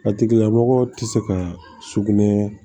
A tigila mɔgɔ tɛ se ka sugunɛ